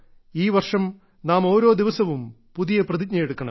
ഈ വർഷം നാം ഓരോ ദിവസവും പുതിയ പ്രതിജ്ഞയെടുക്കണം